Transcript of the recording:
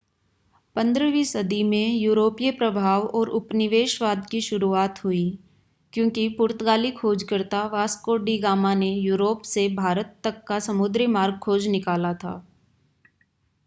15वीं सदी में यूरोपीय प्रभाव और उपनिवेशवाद की शुरुआत हुई क्योंकि पुर्तगाली खोजकर्ता वास्को डी गामा ने यूरोप से भारत तक का समुद्री मार्ग खोज निकाला था